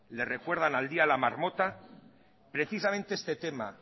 le recuerdan al día de la marmota precisamente este tema